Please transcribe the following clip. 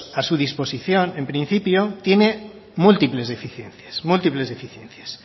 a su disposición en principio tiene múltiples deficiencias múltiples deficiencias